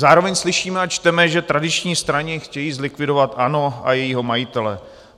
Zároveň slyšíme a čteme, že tradiční strany chtějí zlikvidovat ANO a jejího majitele.